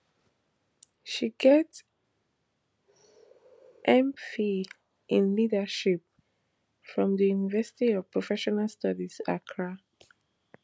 she get mphil in in leadership from di university of professional studies accra